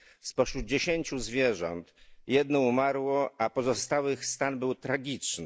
Spośród dziesięciu zwierząt jedno umarło, a stan pozostałych był tragiczny.